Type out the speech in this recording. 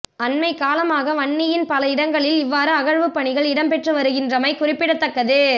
அண்மைக்காலமாக வன்னியின் பல இடங்களில் இவ்வாறு அகழ்வுப் பணிகள் இடம்பெற்று வருகின்றமை குறிப்பிடத்தக்கது